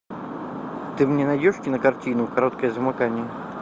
ты мне найдешь кинокартину короткое замыкание